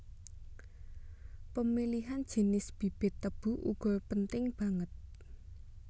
Pemilihan jinis bibit tebu uga penting banget